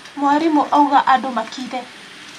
Mwarimũ auga andũ makire.